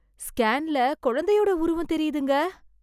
ஸ்கேன்ல குழந்தையோட உருவம் தெரியுதுங்க.